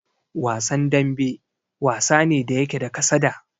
Wasan dambe, wasa ne da yake da kasada.